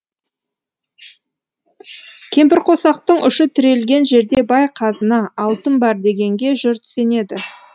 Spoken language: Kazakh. кемпірқосақтың ұшы тірелген жерде бай қазына алтын бар дегенге жұрт сенеді